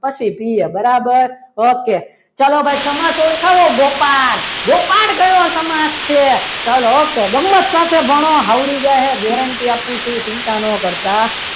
પછી પીએ બરાબર okay ચાલો ભાઈ સમાસ ઓળખાવો ગોપાલ ગોપાલ કયો સમાસ છે ચાલો ઓકે ગમ્મત સાથે ભણો આવડી જશે guarantee આપું છું ચિંતા ન કરતા પછી પીએ બરાબર.